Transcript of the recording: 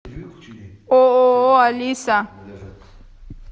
ооо алиса